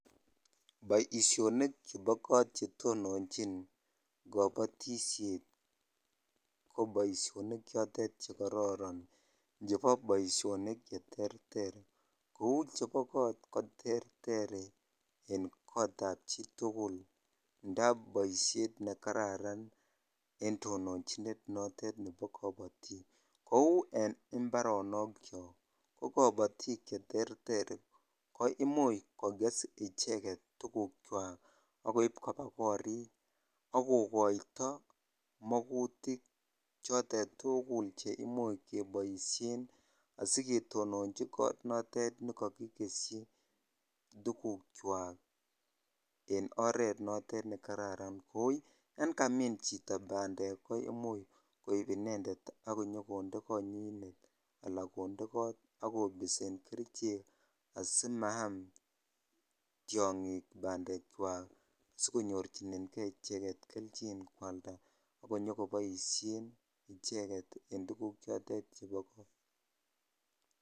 Boishonik chebo kot chetononchin kobotishet ko boishonik chotet chekororon chebo boishonik cheterter kouu chebo koot ko terter en kotab chitukul ndab boishet nekararan en tononchinet notet nebo kobotik, kouu en imbaronokiok ko kobotik cheterter ko imuch kokes icheket tukukwak ak koib koba korik ak kokoito mokutik chotet tukul cheimuch keboishen asiketononji kot notet nekokikeshi tukukwak en oret notet nekararan oo yoon kamin chito bandek ko imuch koib inendet ak inyokonde konyinet alaa konde koot ak kobisen kerichek asimaam tiongik bandekwak sikonyorchinenge icheket kelchin kwalda ak inyokoboishen icheket en tukuk chotet chebo koot.